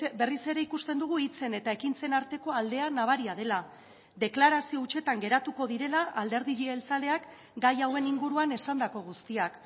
berriz ere ikusten dugu hitzen eta ekintzen arteko aldea nabaria dela deklarazio hutsetan geratuko direla alderdi jeltzaleak gai hauen inguruan esandako guztiak